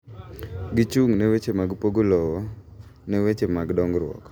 Gichung' ne weche mag pogo lowo ne weche mag dongruok.